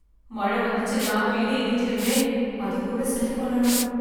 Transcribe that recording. மழை வந்துச்சுன்னா வீடு இடிஞ்சிடுமே அதுக்குள்ள சரி பண்ணனும்.